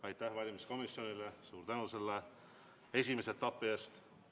Aitäh valimiskomisjonile, suur tänu selle esimese etapi eest!